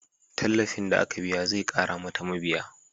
Tallafin da aka biya zai ƙara mata mabiya